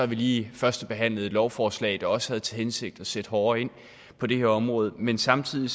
vi lige førstebehandlet et lovforslag der også havde til hensigt at sætte hårdere ind på det her område men samtidig